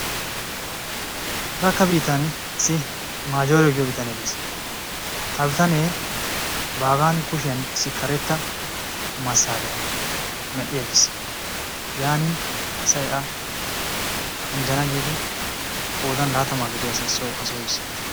Arakka biittan issi Maajore giyo bitanee de"es. ha bitanee baagan kushiyan issi karetta massaariya mell'i aggiis. yaanin asay a anjjana giidi qoodan laatamaa gidiya asay soo yis.